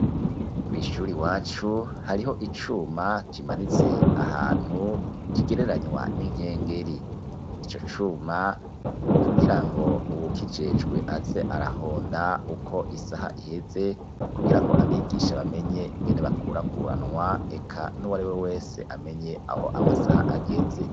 kw'ishuri wacu hariho icuma kimanitse ahantu kigereranywa n'inkengeri icyo cuma ni ukugira ngo ubu kijecwe aze arahonda uko isaha iheze kugira ngo abigisha bamenye ingene bakurakuranwa eca n'uwari we wese amenye aho amasaha ageze.